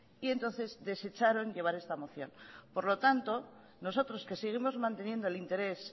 y entonces desecharon llevar esta moción por lo tanta nosotros que seguimos manteniendo el interés